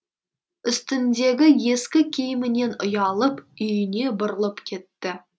үстіндегі ескі киімінен ұялып үйіне бұрылып кетті